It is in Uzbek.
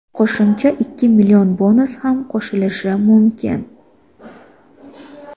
qo‘shimcha ikki million bonus ham qo‘shilishi mumkin.